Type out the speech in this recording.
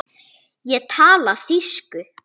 Ég tala þýsku!